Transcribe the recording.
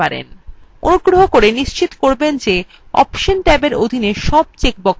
অনুগ্রহ করে নিশ্চিত করবেন যে অপশন ট্যাবের অধীন tab check বক্সগুলি অনির্বাচিত আছে